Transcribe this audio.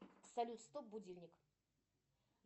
салют стоп будильник